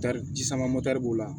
Tari sama b'o la